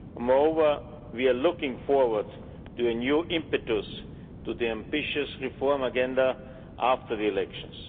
Moreover, we are looking forward to a new impetus to the ambitious reform agenda after the elections.